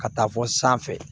Ka taa fɔ sanfɛ